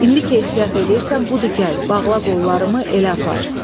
İndi ki ehtiyat eləyirsən, budur gəl, bağla qollarımı, elə apar."